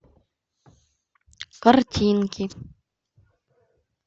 картинки